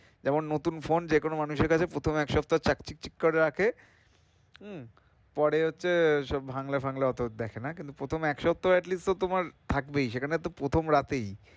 যেমন নতুন phone যে কোনো মানুষের কাছে প্রথম এক সপ্তাহ চাক চিকচিক করে রাখে হম পর হচ্ছে সব ভাঙলে-ফাঙলে অত দেখে না কিন্তু প্রথম এক সপ্তাহ at least তো তোমার থাকবেই সেখানে প্রথম রাতেই,